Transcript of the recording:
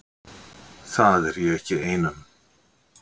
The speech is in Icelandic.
Það er ég ekki ein um.